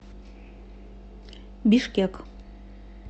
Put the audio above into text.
бишкек